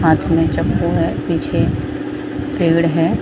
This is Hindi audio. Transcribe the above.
हाथ में चाकू है पीछे पेड़ है।